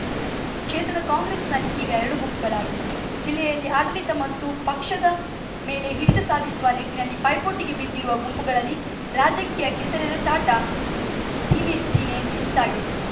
ಕ್ಷೇತ್ರದ ಕಾಂಗ್ರೆಸ್‌ನಲ್ಲಿ ಈಗ ಎರಡು ಗುಂಪುಗಳಾಗಿವೆ ಜಿಲ್ಲೆಯ ಆಡಳಿತ ಮತ್ತು ಪಕ್ಷದ ಮೇಲೆ ಹಿಡಿತ ಸಾಧಿಸುವ ನಿಟ್ಟಿನಲ್ಲಿ ಪೈಪೋಟಿಗೆ ಬಿದ್ದಿರುವ ಗುಂಪುಗಳಲ್ಲಿ ರಾಜಕೀಯ ಕೆಸರೆರಚಾಟ ದಿನೇದಿನೆ ಹೆಚ್ಚಾಗಿದೆ